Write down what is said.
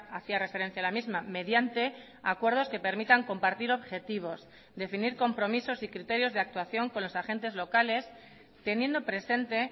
hacía referencia a la misma mediante acuerdos que permitan compartir objetivos definir compromisos y criterios de actuación con los agentes locales teniendo presente